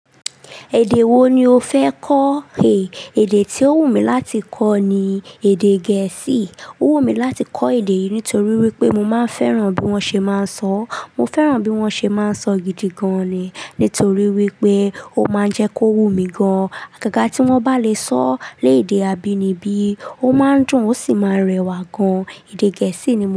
Èdè wo ni o fẹ kọ? Èè èdè tí ó wù mí láti kọ ni èdè gẹ̀ẹ́sì. Ó wù mí láti kọ èdè yìí nítorí wípé mo máa ń fẹ́ràn bí wón ṣe máa ń sọ. Mo fẹ́ràn bí wón ṣe máa ń sọ gidi gan ni. Nítorí wípé ó máa ń jẹ́ kó wú mí gan. Àgàgà tí wón bá lè sọ lé èdè àbíni bí, ó máa ń dùn ó sì máa ń rẹwà gan. Èdè gẹ̀ẹ́sì ni mo.